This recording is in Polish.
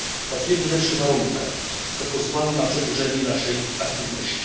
Pracujemy w lepszych warunkach, co pozwala na przedłużenie naszej aktywności.